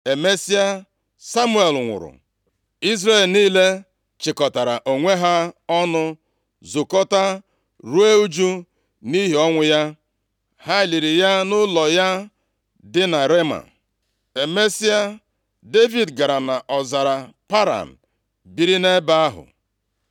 Emesịa Samuel nwụrụ. Izrel niile chịkọtara onwe ha ọnụ zukọta ruo ụjụ nʼihi ọnwụ ya. Ha liri ya nʼụlọ ya dị na Rema. Emesịa, Devid gara nʼọzara Paran biri nʼebe ahụ.